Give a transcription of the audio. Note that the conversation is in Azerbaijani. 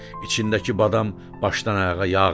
İçindəki badam başdan-ayağa yağdır.